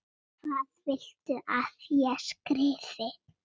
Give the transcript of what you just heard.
Hvað viltu að ég skrifi?